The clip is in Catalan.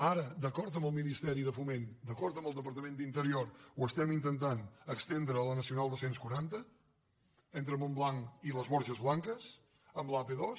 ara d’acord amb el ministeri de foment d’acord amb el departament d’interior ho estem intentant estendre a la nacional dos cents i quaranta entre montblanc i les borges blanques amb l’ap dos